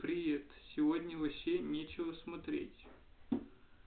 привет сегодня вообще нечего смотреть